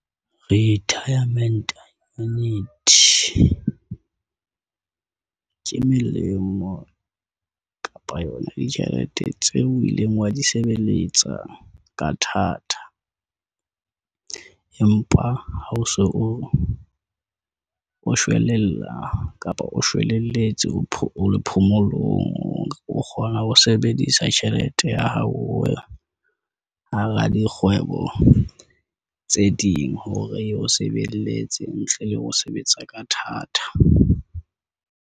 Retirement Annuity ke melemo kapa yona ditjhelete tseo o ileng wa di sebeletsa ka thata. Empa ha o so o shwelella kapa o shwelletse o le phomolong, o kgona ho sebedisa tjhelete tjhelete ya hao hara dikgwebo tse ding, hore e o sebeletse ntle le ho sebetsa ka thata.